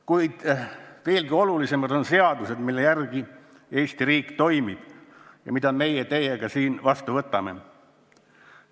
Kuid veelgi olulisemad on seadused, mille järgi Eesti riik toimib ja mida meie teiega siin vastu võtame.